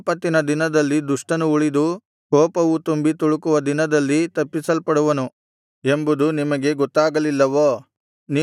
ಆಪತ್ತಿನ ದಿನದಲ್ಲಿ ದುಷ್ಟನು ಉಳಿದು ಕೋಪವು ತುಂಬಿ ತುಳುಕುವ ದಿನದಲ್ಲಿ ತಪ್ಪಿಸಲ್ಪಡುವನು ಎಂಬುದು ನಿಮಗೆ ಗೊತ್ತಾಗಲಿಲ್ಲವೋ